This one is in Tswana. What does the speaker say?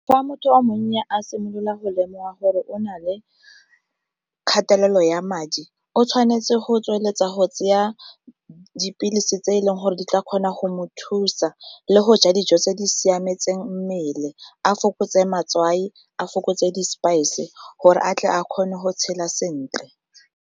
Fa motho wa monna a simolola go lemoga gore o na le kgatelelo ya madi, o tshwanetse go tsweletsa go tsaya dipilisi tse e leng gore di tla kgona go mo thusa le go ja dijo tse di siametseng mmele a fokotse matswai, a fokotse di-spice gore a tle a kgone go tshela sentle.